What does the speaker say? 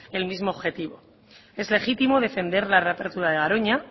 el mismo objetivo es legítimo defender la reapertura de garoña